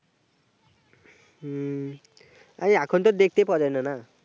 আরে এখন তো দেখতেই পাওয়া যায় না না